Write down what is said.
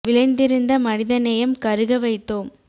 விளைந்திருந்த மனிதநேயம் கருக வைத்தோம்